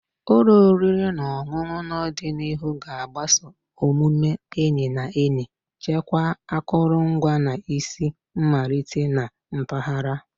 Ụlọ oriri na ọṅụṅụ n'ọdịnihu ga-agbaso omume enyi na enyi, chekwaa akụrụngwa, na isi mmalite na mpaghara.